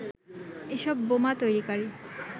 এসব বোমা তৈরিকারী